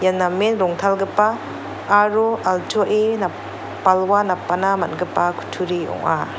ia namen rongtalgipa aro altuae nap-balwa napbana man·gipa kutturi ong·a.